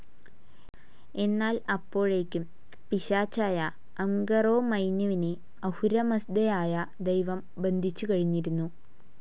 എന്നാൽ അപ്പോഴേക്കും പിശാചായ അംഗറൊമൈന്യുവിനെ അഹുരമസ്ദായായ ദൈവം ബന്ധിച്ചു കഴിഞ്ഞിരുന്നു.